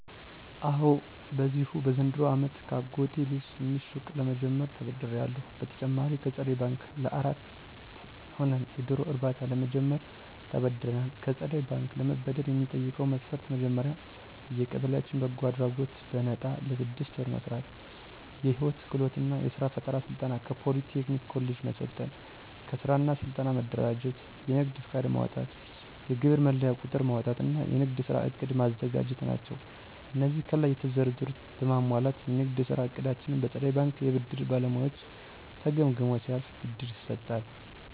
አወ በዚሁ በዘንድሮው አመት ከአጎቴ ልጅ ትንሽ ሱቅ ለምጀምርበት ተበድሬአለሁ። በተጨማሪም ከፀደይ በንክ ለአራት ሆነን የዶሮ እርባታ ለመጀመር ተበድረናል። ከፀደይ ባንክ ለመበደር የሚጠይቀው መስፈርት መጀመሪያ በየቀበሌያችን በጎ አድራጎት በነጣ ለስድስት ወር መስራት፣ የህይወት ክህሎት እና የስራ ፈጠራ ስልጠና ከፖሊ ቴክኒክ ኮሌጅ መሰልጠን፣ ከስራ እና ስልጠና መደራጀት፣ የንግድ ፍቃድ ማውጣት፣ የግብር መለያ ቁጥር ማውጣት እና የንግድ ስራ ዕቅድ ማዘጋጀት ናቸው። አነዚህን ከላይ የተዘረዘሩትን በማሟላት የንግድ ስራ እቅዳችን በፀደይ ባንክ የብድር ባለሙያዎች ተገምግሞ ሲያልፍ ብድር ይሰጣል።